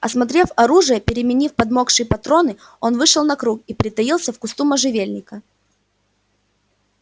осмотрев ружье переменив подмокшие патроны он вышел на круг и притаился в кусту можжевельника